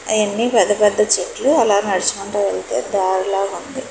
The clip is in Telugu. అయన్ని పెద్ద పెద్ద చెట్లు అలా నడుచుకుంటు వెళ్తే దారిలాగా ఉంది.